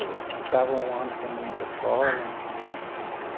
Ficava um ano sem ir para a escola, entendeu? Uhum.